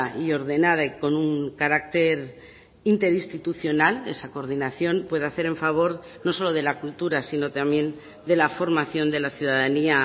y ordenada y con un carácter interinstitucional esa coordinación puede hacer en favor no solo de la cultura sino también de la formación de la ciudadanía